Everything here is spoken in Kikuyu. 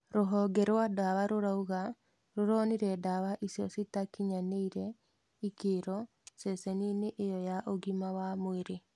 Rũhonge rwa ndawa rũrauga rũronire ndawa icio citakinyanĩirie ikĩro ceceni-inĩ ĩyo ya ũgima wa mwĩrĩ.